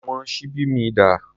Àwọn ṣíbí mi dà?